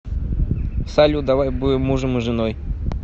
салют давай будем мужем и женой